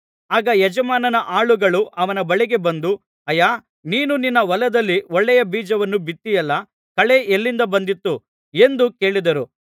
ಆಗ ಯಜಮಾನನ ಆಳುಗಳು ಅವನ ಬಳಿಗೆ ಬಂದು ಅಯ್ಯಾ ನೀನು ನಿನ್ನ ಹೊಲದಲ್ಲಿ ಒಳ್ಳೆಯ ಬೀಜವನ್ನು ಬಿತ್ತಿದ್ದಿಯಲ್ಲಾ ಕಳೆ ಎಲ್ಲಿಂದ ಬಂದಿತು ಎಂದು ಕೇಳಿದರು